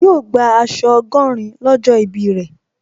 Yóò gbà aṣọ ọgọ́rin lọ́jọ́ ìbí rẹ̀